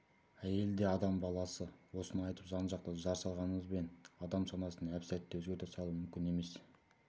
әйел де адам баласы осыны айтып жан-жақтан жар салғанымызбен адам санасын әп-сәтте өзгерте салу мүмкін емес